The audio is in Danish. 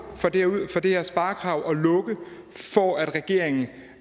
for det her sparekrav og lukke for at regeringen